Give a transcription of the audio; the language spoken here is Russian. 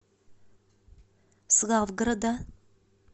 славгорода